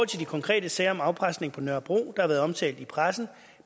til de konkrete sager om afpresning på nørrebro der har været omtalt i pressen